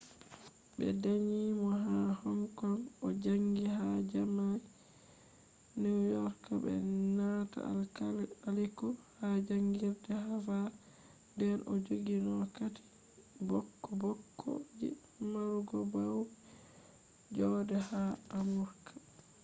ɓe danyi mo ha hong kong o jaangi ha jaami’a new york be nanta alkaliku ha jaangirde havard nden o jogino kati bokko bokko je marugo baude joode haa amurka